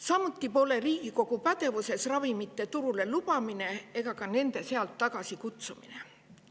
Samuti pole Riigikogu pädevuses ravimite turule lubamine ega ka nende sealt tagasikutsumine.